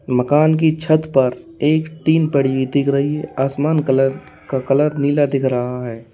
मकान की छत पर एक टीन पड़ी हुई दिख रही है आसमान कलर का कलर नीला दिख रहा है।